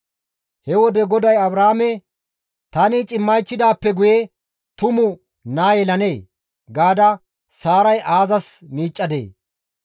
He wode GODAY Abrahaame, « ‹Tani cimmaychidaappe guye tumu naa yelanee?› gaada Saaray aazas miiccadee?